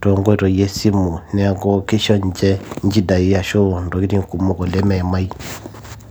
toonkoitoi esimu neeku kisho ninche nchidai ashu intokitin kumok oleng meimai.